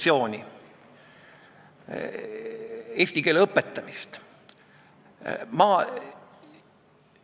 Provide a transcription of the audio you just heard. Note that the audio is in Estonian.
Teine vastus on see, et meie informatsioon on suunatud Venemaa Föderatsiooni saatkonna vastu ja sealt mööduvad ka välismaalased, kes meie sõnumit edasi kannavad.